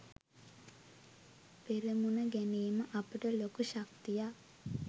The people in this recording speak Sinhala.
පෙරමුණ ගැනීම අපට ලොකු ශක්තියක්.